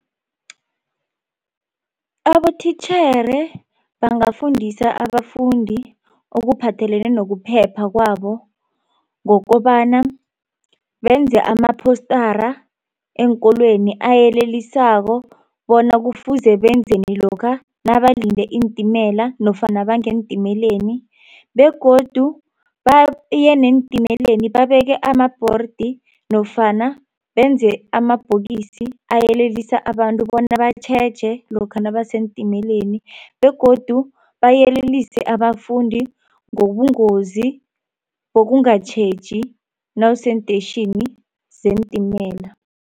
Abothitjhere bangafundisa abafundi okuphathelene nokuphepha kwabo ngokobana benze ama-postara eenkolweni ayelelisako bona kufuze benzeni lokha nabalinde iintimela nofana bangeentimeleni begodu baye neentimela babeke amabhordi nofana benze amabhokisi ayelelisa abantu bona batjheje lokha nabaseentimeleni begodu bayelelise abafundi ngobungozi bokungatjheji nawuseentetjhini zeentimela.